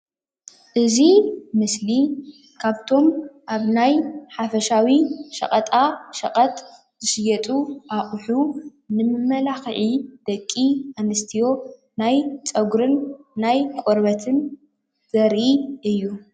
እዚ ምስሊ ዝረኣ ዘሎ ደቂ አንስትዮ ንመመላክዕን ንቆርበት መለስለስን ዝጥቀማሉ እዩ።